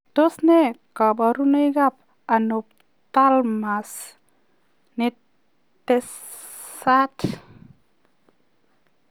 Tos nee kabarunoik ap anapotalamas netesaat?